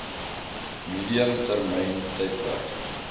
medium termyn tydperk